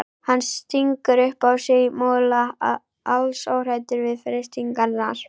Hann stingur upp í sig mola, alls óhræddur við freistingarnar.